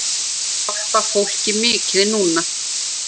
Ég hjálpa fólki mikið núna.